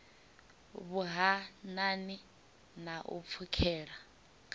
vhuhanani na u pfukhela kha